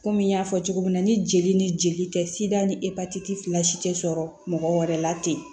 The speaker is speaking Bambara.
Kɔmi n y'a fɔ cogo min na ni jeli ni jeli tɛ dan ni epatiti fila si tɛ sɔrɔ mɔgɔ wɛrɛ la ten